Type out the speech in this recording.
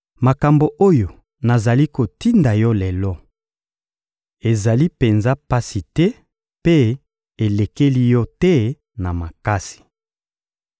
Makambo oyo nazali kotinda yo lelo, ezali penza pasi te mpe elekeli yo te na makasi.